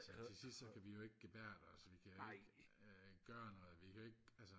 til sidst så kan vi jo ikke gebærde os vi kan jo ikke øh gøre noget vi kan jo ikke altså